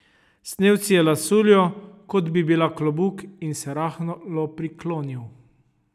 Snel si je lasuljo, kot bi bila klobuk, in se rahlo priklonil.